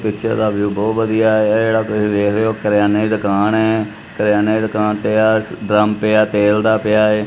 ਪਿੱਛੇ ਦਾ ਵਿਊ ਬਹੁਤ ਵਧੀਆ ਆਇਆ ਏ ਜਿਹੜਾ ਤੁਸੀਂ ਦੇਖ ਰਹੇ ਹੋ ਕਰਿਆਨੇ ਦੀ ਦੁਕਾਨ ਐ ਕਰਿਆਨੇ ਦੀ ਦੁਕਾਨ ਤੇ ਡਰਮ ਪਿਆ ਤੇਲ ਦਾ ਪਿਆ।